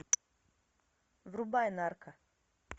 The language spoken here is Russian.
врубай нарко